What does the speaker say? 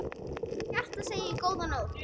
Af hjarta segið: GÓÐA NÓTT.